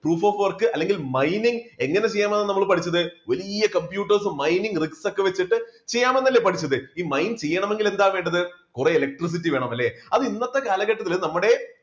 proof of work അല്ലെങ്കിൽ mining എങ്ങനെ ചെയ്യണമെന്നാണ് നമ്മൾ പഠിച്ചത് വലിയ computers mining rix ഒക്കെ വെച്ചിട്ട് ചെയ്യാമെന്നല്ലേ പഠിച്ചത് ഈ mining ചെയ്യണമെങ്കിൽ എന്താ വേണ്ടത് കുറെ electricity വേണം അല്ലേ? അത് ഇന്നത്തെ കാലഘട്ടത്തിൽ നമ്മുടെ